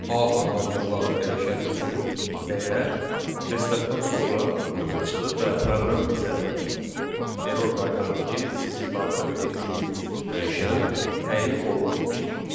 A adlandırılan dəyişən üçün dəyər restartdan sonra yoxa çıxır və proqram bizə error qaytarır ki, sizin daxil etdiyiniz dəyişən təyin olunmamışdır.